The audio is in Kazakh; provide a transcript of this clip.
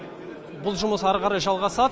бұл жұмыс әрі қарай жалғасады